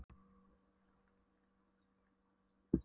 Greyið er alltaf notuð í rafmagnsleysinu á veturna sagði hann.